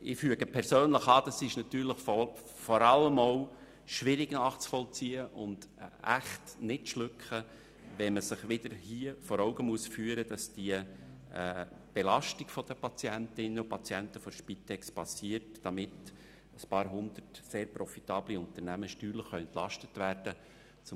Ich füge persönlich an, dass es vor allem auch schwierig nachzuvollziehen und wirklich kaum zu schlucken ist, wenn man sich hier wieder vor Augen führen muss, dass eine Belastung der Patientinnen und Patienten der Spitex vorgesehen ist, damit ein paar 100 sehr profitable Unternehmen steuerlich entlastet werden können.